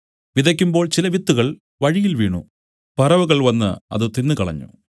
വിതയ്ക്കുമ്പോൾ ചില വിത്തുകൾ വഴിയിൽ വീണു പറവകൾ വന്നു അത് തിന്നുകളഞ്ഞു